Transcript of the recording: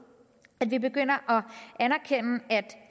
at vi begynder